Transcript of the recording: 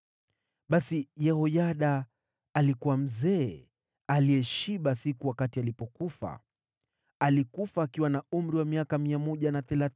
Basi Yehoyada alikuwa mzee aliyeshiba siku wakati alipofariki. Alikufa akiwa na umri wa miaka 130.